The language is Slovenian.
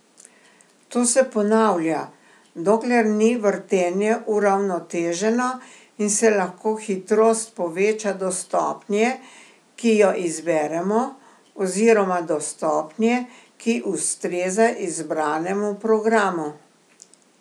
To se ponavlja, dokler ni vrtenje uravnoteženo in se lahko hitrost poveča do stopnje, ki jo izberemo, oziroma do stopnje, ki ustreza izbranemu programu.